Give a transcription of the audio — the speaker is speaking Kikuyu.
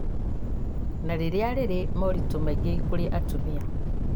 na rĩrĩa rĩrĩ moritũ maingĩ kũrĩ atumia